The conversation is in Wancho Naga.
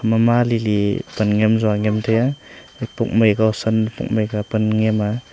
mama lili pan nyem tsua nyem tai a epok mai kua san epok mai kua pan nyem a.